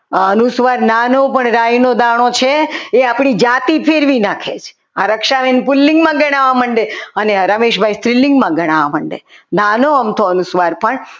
અનુસ્વાર નાનો પણ રાઈનો દાણો છે એ આપણી જાતિ ફેરવી નાખે છે રક્ષાબેન પુલિંગમાં ગણાવવા માંડે અને રમેશભાઈ સ્ત્રીલિંગમાં ગણાવવા માંડે નાનો અમથો અનુસ્વાર પણ